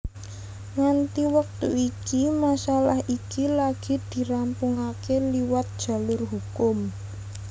Nganti wektu iki masalah iki lagi dirampungaké liwat jalur hukum